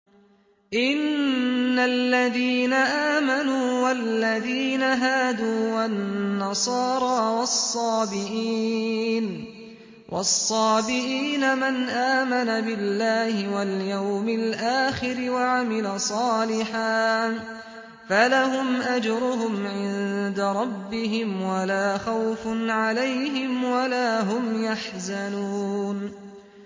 إِنَّ الَّذِينَ آمَنُوا وَالَّذِينَ هَادُوا وَالنَّصَارَىٰ وَالصَّابِئِينَ مَنْ آمَنَ بِاللَّهِ وَالْيَوْمِ الْآخِرِ وَعَمِلَ صَالِحًا فَلَهُمْ أَجْرُهُمْ عِندَ رَبِّهِمْ وَلَا خَوْفٌ عَلَيْهِمْ وَلَا هُمْ يَحْزَنُونَ